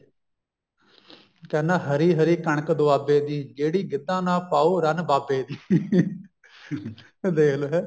ਕਹਿੰਦਾ ਹਰੀ ਹਰੀ ਕਣਕ ਦੁਆਬੇ ਦੀ ਜਿਹੜੀ ਗਿੱਧਾ ਨਾ ਪਾਉ ਰੰਨ ਬਾਬੇ ਦੀ ਐ ਦੇਖਲੋ ਹੈ